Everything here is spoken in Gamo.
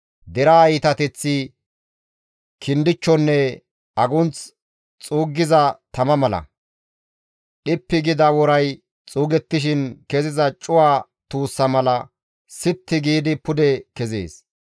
Deraa iitateththi kindichchonne agunth xuuggiza tama mala; dhippi gida woray xuugettishin keziza cuwa tuussa mala sitti giidi pude kezees.